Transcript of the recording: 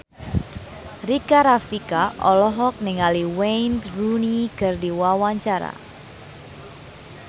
Rika Rafika olohok ningali Wayne Rooney keur diwawancara